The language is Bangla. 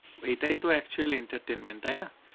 এটাই তো actual entertainment তাই না?